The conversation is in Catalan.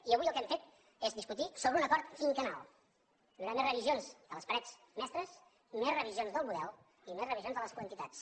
i avui el que hem fet és discutir sobre un acord quinquennal hi haurà més revisions de les parets mestres més revisions del model i més revisions de les quantitats